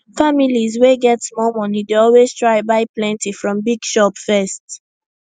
families wey get small money dey always try buy plenty from big shop first